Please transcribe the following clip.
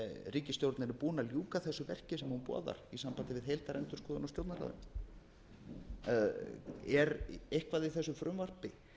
ríkisstjórnin er búin að ljúka þessu verki sem hún boðar í sambandi við heildarendurskoðun á stjórnarráðinu er eitthvað í þessu frumvarpi